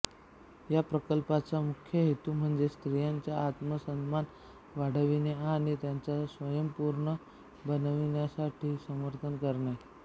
या प्रकल्पाचा मुख्य हेतू म्हणजे स्त्रियांचा आत्मसन्मान वाढविणे आणि त्यांना स्वयंपूर्ण बनविण्यासाठी समर्थन करणे